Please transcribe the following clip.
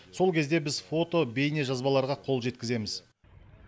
сол кезде біз фото және бейнежазбаларға қол жеткіземіз